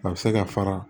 A bɛ se ka fara